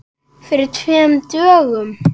Fyrir tveimur dögum?